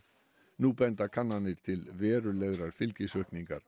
nú benda kannanir til verulegrar